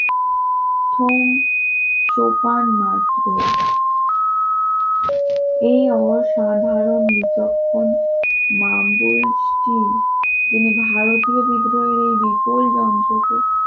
সোম সোপান মাত্র এ অসাধারণ বিচক্ষণ মাম বলছি তিনি ভারতীয় বিদ্রোহের বিপুল যন্ত্রকে